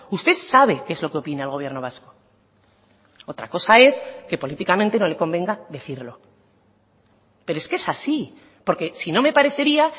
usted sabe qué es lo que opina el gobierno vasco otra cosa es que políticamente no le convenga decirlo pero es que es así porque si no me parecería